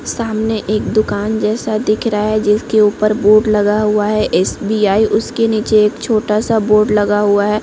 सामने एक दुकान जैसा दिख रहा है जिसके ऊपर बोर्ड लगा हुआ है एस.बी.आई उसके नीचे एक छोटा -सा बोर्ड लगा हुआ हैं।